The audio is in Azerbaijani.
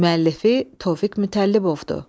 Müəllifi Tofiq Mütəllibovdur.